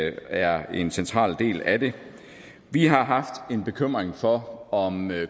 er en central del af det vi har haft en bekymring for om